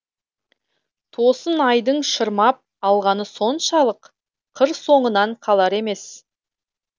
тосын айдың шырмап алғаны соншалық қыр соңынан қалар емес